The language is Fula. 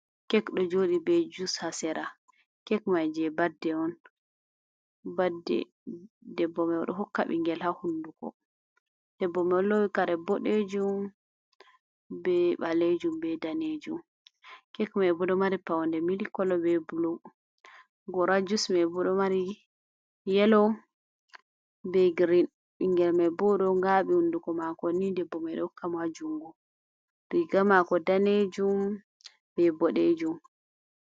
Kek ɗo joɗi be jus hasera kek mai je badde on, ɓiɗɗo debbo hokka bingel ha hunduko debbo olowi kare boɗejum be ɓalejum be danejum, kek mai bo ɗo mari paune milikola be bulu, gora jus mai bo ɗo mari yelo be girin, ɓingel mai bo ɗo ngabi hunduko mako ni debbo mai ɗo hokka majungu riga mako danejum be boɗejum.